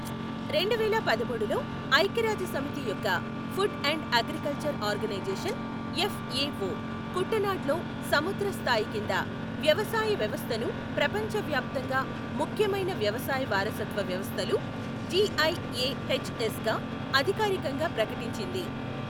రెండు వేల పదమూడులో ఐక్యరాజ్యసమితి యొక్క Food and Agriculture Organization, FAO Kuttanad లో సముద్ర స్థాయి కింద వ్యవసాయ వ్యవస్థను ప్రపంచ వ్యాప్తంగా ముఖ్యమైన వ్యవసాయ వారసత్వ వ్యవస్థలు, జిఐఎహెచ్ఎస్గా అధికారికంగా ప్రకటించింది.